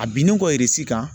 A binnen kɔ